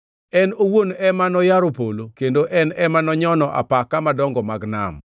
En owuon ema noyaro polo kendo en ema nonyono apaka madongo mag nam.